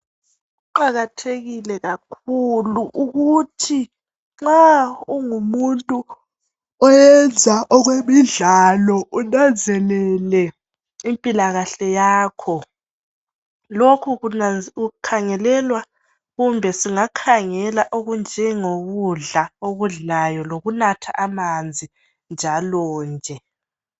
Kuqakathekile kakhulu ukuthi nxa ungumuntu oyenza okwemidlalo unanzelele impilakahle yakho lokhu kunanz kukhangelelwa kumbe singakakhela okunjengokudla okudlayo lokunatha amanzi njalo nje.